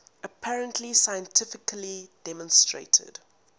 apparently scientifically demonstrated